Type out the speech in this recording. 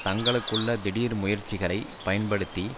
தங்களுக்குள்ள திடீர் முயற்சிகளை பயன்படுத்தி